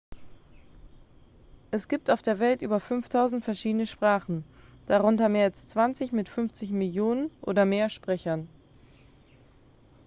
es gibt auf der welt über 5.000 verschiedene sprachen darunter mehr als zwanzig mit 50 millionen oder mehr sprechern